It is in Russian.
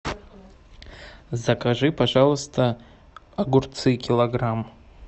закажи пожалуйста огурцы килограмм